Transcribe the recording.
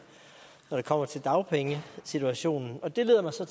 når det kommer til dagpengesituationen det leder mig så